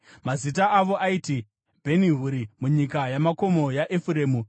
Mazita avo aiti: Bheni-Huri, munyika yamakomo yaEfuremu;